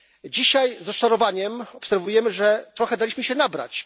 Dzisiaj z rozczarowaniem obserwujemy, że trochę daliśmy się nabrać.